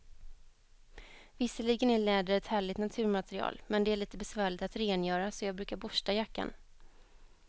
Visserligen är läder ett härligt naturmaterial, men det är lite besvärligt att rengöra, så jag brukar borsta jackan.